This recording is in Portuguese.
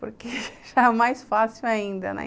porque já é mais fácil ainda, né?